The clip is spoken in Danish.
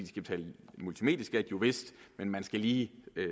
skal betale multimedieskat jo vist men man skal lige